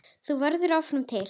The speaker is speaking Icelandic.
Þú verður áfram til.